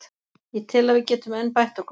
Ég tel að við getum enn bætt okkur.